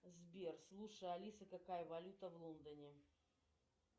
сбер слушай алиса какая валюта в лондоне